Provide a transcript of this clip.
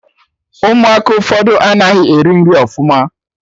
Ụmụaka ụfọdụ anaghị eri nri ọfụma